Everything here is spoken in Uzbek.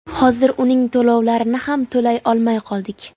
Hozir uning to‘lovlarini ham to‘lay olmay qoldik.